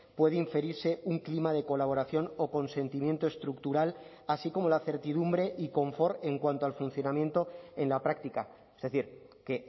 puede inferirse un clima de colaboración o consentimiento estructural así como la certidumbre y confort en cuanto al funcionamiento en la práctica es decir que